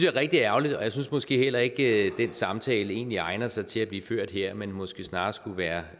er rigtig ærgerligt jeg synes måske heller ikke at den samtale egentlig egner sig til at blive ført her men måske snarere skulle være